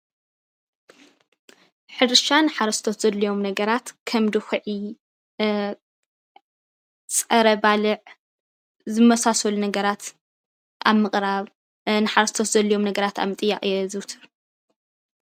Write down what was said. ሕርሻ ንሓረስቶት ዘድልዮም ነገራት ከም ድኩዒ ፣ ፀረ ባልዕ ዝመሳሰሉ ነገራት ኣብ ምቅራብ ንሓረስቶት ዘድልዮም ነገራት ኣብ ምጥያቅ የዘውትር፡፡